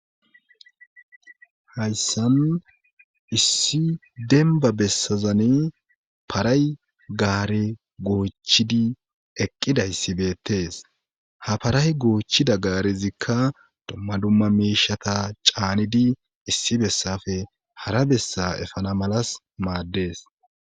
Hayssan issi denbba bessazani paray gaare goochidi eqqidayssi beettees ha paray goochchida gaarezikka dumma dumma miishshata caanidi issi bessape hara bessa efana malas maaddees